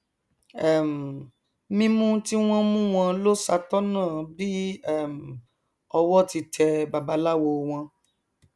um mímú tí wọn mú wọn lọ ṣàtọnà bí um owó ti tẹ babaláwo wọn